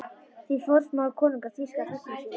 Því forsmáir konungur þýska þegna sína?